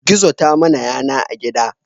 Gizo ta mana yana a gida